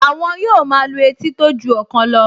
Àwọn yóò máa lu etí tó ju ọ̀kan lọ